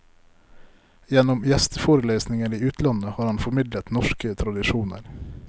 Gjennom gjesteforelesninger i utlandet har han formidlet norske tradisjoner.